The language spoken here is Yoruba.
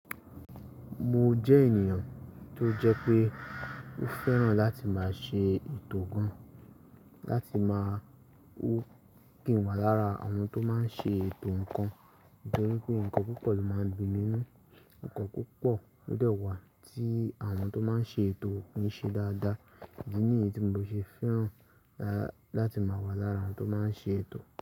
Mo jẹ́ ènìyàn tó jẹ́ pé ó fẹ́ràn láti máa ṣe ètò gan, láti máa wò kí n wà lára àwọn tó máa ń ṣe ètò nǹkan. Nítorí pé nǹkan púpọ̀ ló máa ń di nínú, nǹkan púpọ̀ ló dẹ́wàá tí àwọn tó máa ń ṣe ètò un ṣe dáadáa. Èyi ni yen tí mo ṣe fẹ́ràn láti máa wà lára àwọn tó máa ń ṣe ètò.